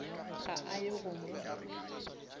ga a ye go mo